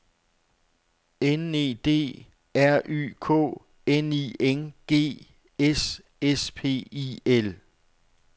N E D R Y K N I N G S S P I L